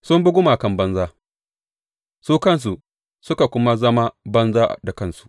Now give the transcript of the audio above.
Sun bi gumakan banza su kansu suka kuma zama banza da kansu.